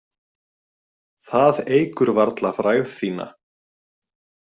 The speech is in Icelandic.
Það eykur varla frægð þína.